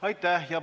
Aitäh!